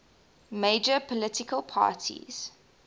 major political parties